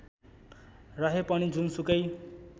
रहे पनि जुनसुकै